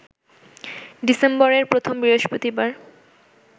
ডিসেম্বরের প্রথম বৃহস্পতিবার